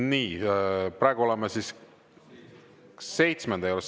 Nii, praegu oleme seitsmenda juures.